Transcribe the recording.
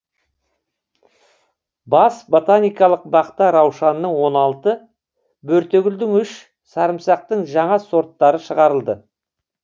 бас ботаникалық бақта раушанның он алты бөртегүлдің үш сарымсақтың жаңа сорттары шығарылды